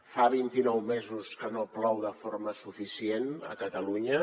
fa vint i nou mesos que no plou de forma suficient a catalunya